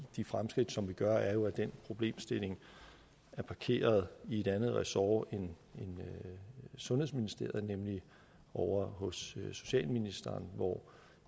de fremskridt som vi gør er jo at den problemstilling er parkeret i et andet ressort end sundhedsministeriet nemlig ovre hos socialministeren hvor